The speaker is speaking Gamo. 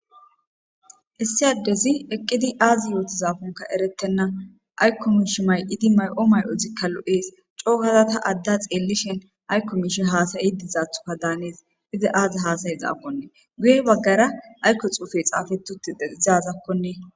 issi addezi eqqidi aazi yootizaafonka erettenna aykko mish may7idi may7o may7otzikka lo7ees cookazata adda xeellishen aykko mishe haasay iddizathuka daanees iza aazi haasaye zaaponnee guye baggara aykko xuufe xaafetute deizazakkoee